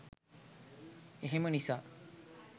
එහෙම නිසා.